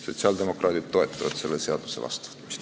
Sotsiaaldemokraadid toetavad selle seaduse vastuvõtmist.